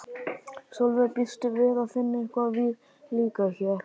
Sólveig: Býstu við að finna eitthvað viðlíka hér?